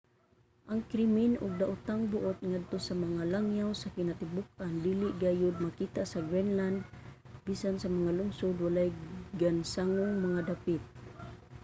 ang krimen ug daotang buot ngadto sa mga langyaw sa kinatibuk-an dili gayod makita sa greenland. bisan sa mga lungsod walay gansangong mga dapit.